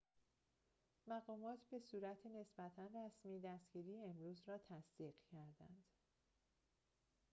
مقامات به صورت نسبتا رسمی دستگیری امروز را تصدیق کردند